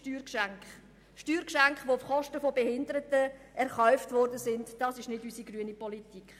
Steuergeschenke, die auf Kosten der Behinderten erkauft wurden, entsprechen nicht unserer grünen Politik.